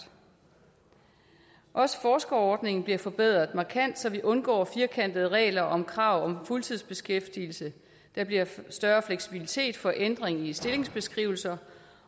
også forskerordningen bliver forbedret markant så vi undgår firkantede regler om krav om fuldtidsbeskæftigelse der bliver større fleksibilitet for ændring i stillingsbeskrivelser